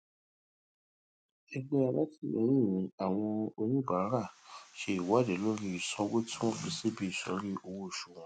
ẹgbẹ alátìlẹyìn àwọn oníbàárà ṣe ìwádìí lórí ìsanwó tí wọn fi síbi ìsòrí owó oṣù wọn